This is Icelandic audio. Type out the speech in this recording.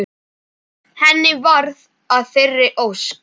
Henni varð að þeirri ósk.